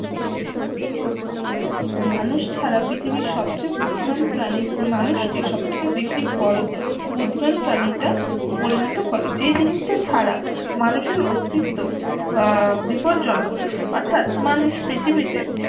মানুষ ছাড়া পৃথিবীর সবচেয়ে বুদ্ধিমান প্রাণী মানুষ কে সবথেকে বেশি বড়ো বুদ্ধিমান প্রাণী তে পরিণতি করে যে জিনিস টা ছাড়া মানুষের অস্তিত্ব বিপদ জনক অর্থাৎ মানুষ পৃথিবীতে